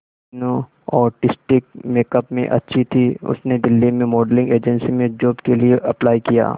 Meenu artistic makeup में अच्छी थी उसने दिल्ली में मॉडलिंग एजेंसी में जॉब के लिए अप्लाई किया